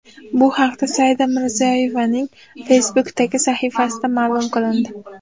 Bu haqda Saida Mirziyoyevaning Facebook’dagi sahifasida ma’lum qilindi .